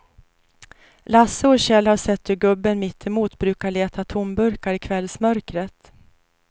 Lasse och Kjell har sett hur gubben mittemot brukar leta tomburkar i kvällsmörkret.